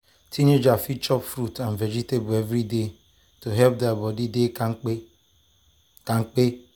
teenagers fit dey chop fruit and vegetables every day to help their body dey kampe. kampe.